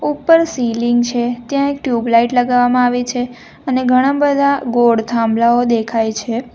ઉપર સીલીંગ છે ત્યાં એક ટ્યુબલાઈટ લગાવવામાં આવી છે અને ઘણા બધા ગોળ થાંભલાઓ દેખાય છે.